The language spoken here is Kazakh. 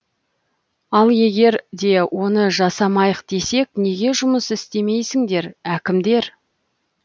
ал егер де оны жасамайық десек неге жұмыс істемейсіңдер әкімдер